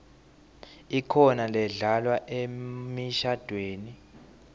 ikhona ledlalwa emishadvweni